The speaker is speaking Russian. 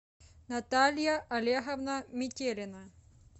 наталья олеговна метелина